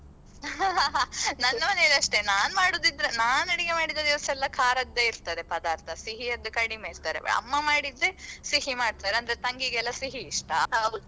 ನನ್ನ ಮನೆಯಲ್ಲಿ ಅಷ್ಟೇ ನಾನು ಮಾಡುದಿದ್ರೆ ನಾನ್ ಅಡುಗೆ ಮಾಡಿದ ದಿವಸೇಲ್ಲಾ ಖಾರದ್ದೇ ಇರ್ತದೆ ಪದಾರ್ಥ ಸಿಹಿಯದ್ದು ಕಡಿಮೆ ಇರ್ತದೆ ಅಮ್ಮ ಮಾಡಿದ್ರೆ ಸಿಹಿ ಮಾಡ್ತಾರೆ ಅಂದ್ರೆ ತಂಗಿಗೆಲ್ಲಾ ಸಿಹಿ ಇಷ್ಟ.